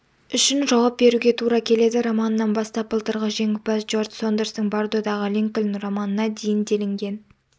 үшін жауап беруге тура келеді романынан бастап былтырғы жеңімпаз джордж сондерстің бардодағы линкольн романына дейін делінген